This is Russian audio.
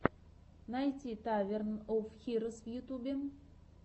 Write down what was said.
найти таверн оф хирос в ютьюбе